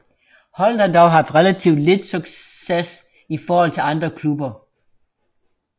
Holdet har dog haft relativt lidt succes i forhold til andre klubber